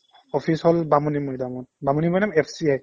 office হ'ল বামুণীমৈদামত Bamunimaidam FCI ত